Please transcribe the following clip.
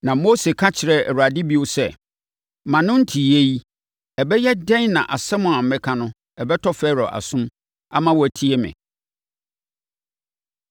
Na Mose ka kyerɛɛ Awurade bio sɛ “Mʼano nteeɛ yi, ɛbɛyɛ dɛn na asɛm a mɛka no bɛtɔ Farao asom ama watie me?”